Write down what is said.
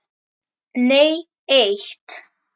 Nei eitt.